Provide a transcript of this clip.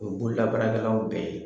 O ye bololabaarakɛlaw bɛɛ ye.